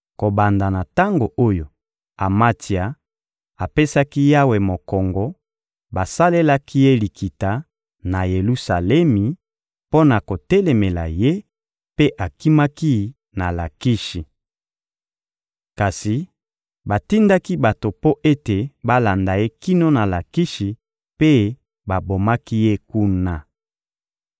Kobanda na tango oyo Amatsia apesaki Yawe mokongo, basalelaki ye likita, na Yelusalemi, mpo na kotelemela ye; mpe akimaki na Lakishi. Kasi batindaki bato mpo ete balanda ye kino na Lakishi, mpe babomaki ye kuna.